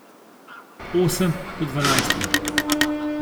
Osem do dvanajst ur.